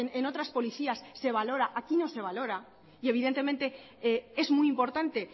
en otras policías se valora aquí no se valora y evidentemente es muy importante